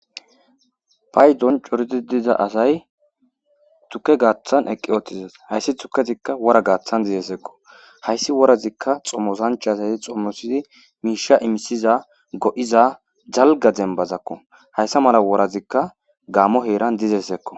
Paydon coridi diza asay tukke gaaththan eqqi ootizas hayssi tukezikka wora gaaththan dizeseekko hayssi worazikka xommosanch asay xommosidi miisha imisiza go'iza jalga dembazakko hayssa mala worazikka gammo heeran dizesekko.